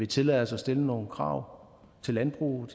tillade os at stille nogle krav til landbruget